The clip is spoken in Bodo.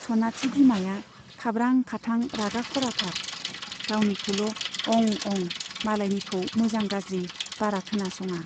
सनाथि बिमाया खाब्रां खाथां रागा खराथार , गावनिखौल' अं अं , मालायनिखौ मोजां गाज्रि बारा खोनासङा।